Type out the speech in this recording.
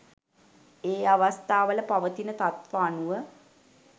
ඒ අවස්ථාවල පවතින තත්ත්ව අනුව